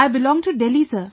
I belong to Delhi sir